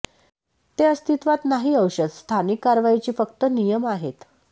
ते अस्तित्वात नाही औषध स्थानिक कारवाईची फक्त नियम आहेत